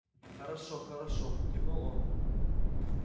хорошо хорошо кивнул он